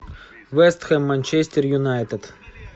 вест хэм манчестер юнайтед